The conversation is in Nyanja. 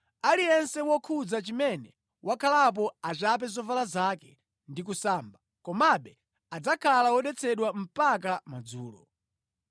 Aliyense wokhudza chimene wakhalapo achape zovala zake ndi kusamba, komabe adzakhala wodetsedwa mpaka madzulo.